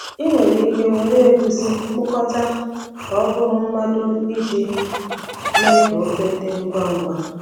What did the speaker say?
Ị nwere ike were egusi kpụkọta ka ọ bụrụ mado iji mee ka ofe dị ngwa ngwa.